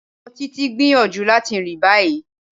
Ọmọ Títitì ń gbíyanjú latí rin ní báyì.